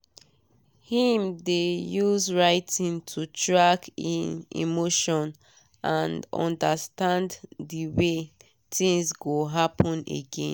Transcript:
him dey use writiing to track e emotions and understand de way things go happen again.